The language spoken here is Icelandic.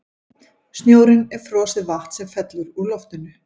Snjórinn er frosið vatn sem fellur úr loftinu.